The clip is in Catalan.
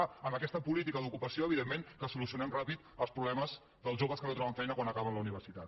clar amb aquesta política d’ocupació evidentment que solucionem ràpidament els problemes dels joves que no troben feina quan acaben la universitat